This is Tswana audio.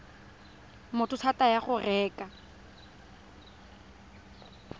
motho thata ya go reka